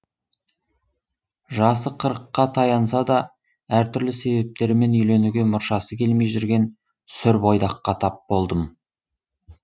жасы қырыққа таянса да әртүрлі себептермен үйленуге мұршасы келмей жүрген сүр бойдаққа тап болдым